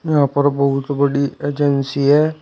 यहाँ पर बहुत बड़ी एजेंसी है।